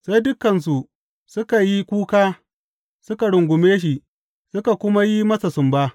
Sai dukansu suka yi kuka suka rungume shi, suka kuma yi masa sumba.